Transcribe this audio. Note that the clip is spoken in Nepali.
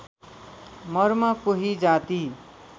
मर्म कोही जाति